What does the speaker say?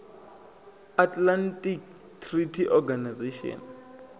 atlantic treaty organization